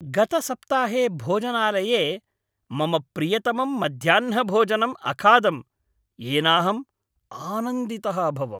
गतसप्ताहे भोजनालये मम प्रियतमं मध्याह्नभोजनं अखादं, येनाहम् आनन्दितः अभवम्।